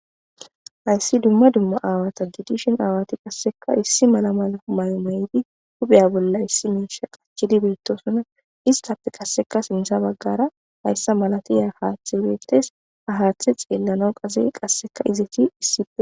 Haysi duma duma aawaya gidishin aawati qaseka issi mala mayo mayidi hupha bolla ayko miisha qachidi beetosona istappe qase sintha bagata haysaalatiza haathay beetes. Ha haathe xeelanaw qase izeti issippe shiiqi eqida.